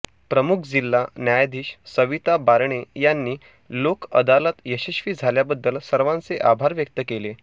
प्रमुख जिल्हा न्यायाधीश सविता बारणे यांनी लोकअदालत यशस्वी झाल्याबद्दल सर्वांचे आभार व्यक्त केले